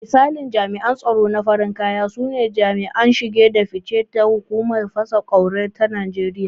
Misalin jami’an tsaro na farin kaya sune jami'an shige da fice da hukumar fasa ƙwauri ta Najeriya.